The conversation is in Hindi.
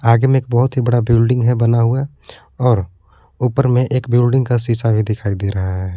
आगे में एक बहुत ही बड़ा बिल्डिंग है बना हुआ और ऊपर में एक बिल्डिंग का शीशा भी दिखाई दे रहा है।